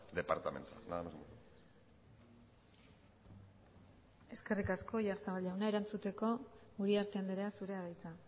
departamento nada más muchas gracias eskerrik asko oyarzabal jauna erantzuteko uriarte andrea zurea da hitza